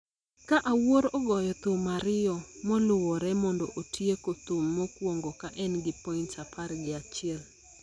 ka Awuor ogoyo thum ariyo moluwore mondo otieko thum mokwongo ka en gi points apar gi achiel